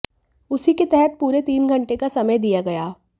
उसी के तहत पूरे तीन घंटे का समय दिया गया